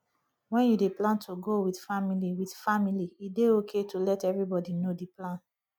when you dey plan to go with family with family e dey okay to let everybody know di plan